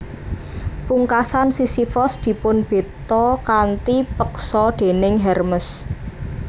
Pungkasan Sisifos dipunbeta kanthi peksa déning Hermes